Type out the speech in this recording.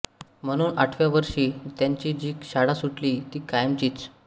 म्हणून आठव्या वर्षी त्यांची जी शाळा सुटली ती कायमचीच